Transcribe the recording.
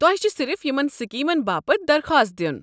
تۄہہ چھ صرف یمن سکیمن باپت درخواست دِیُن۔